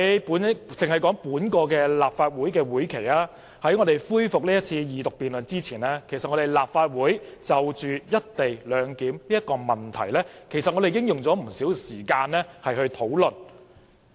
然而，在今個立法會會期，在恢復二讀辯論前，立法會已就"一地兩檢"議題用了不少時間討論。